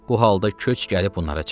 Bu halda köç gəlib onlara çatdı.